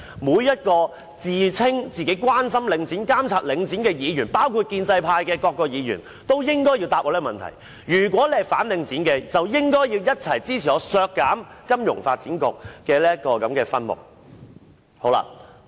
每一位自稱關心領展、監察領展的議員，包括建制派的各位議員也應該回答我這個問題，如果是反領展的，便應該一起支持我提出削減金發局的分目。